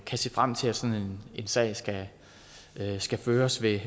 kan se frem til at sagen sagen skal skal føres ved